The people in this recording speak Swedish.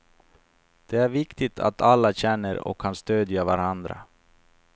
Det är viktigt att alla känner och kan stödja varandra.